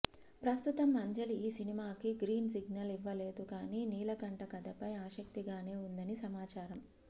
ప్రస్తుతం అంజలి ఈ సినిమాకి గ్రీన్ సిగ్నల్ ఇవ్వలేదు కానీ నీలకంఠ కథపై ఆసక్తిగానే ఉందని సమాచారం